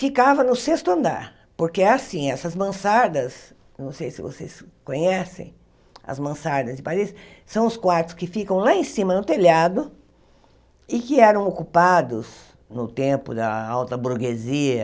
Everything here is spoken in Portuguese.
Ficava no sexto andar, porque é assim, essas mansardas, não sei se vocês conhecem as mansardas de Paris, são os quartos que ficam lá em cima no telhado e que eram ocupados no tempo da alta burguesia,